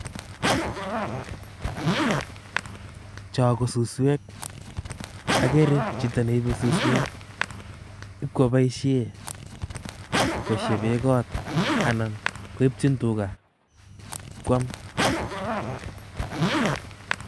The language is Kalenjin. Cho ko suswek. Agere chito neibe suswek, ibko baishe koshebe kot anan koipchin tuga ipkwam.